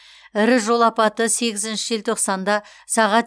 ірі жол апаты сегізінші желтоқсанында сағат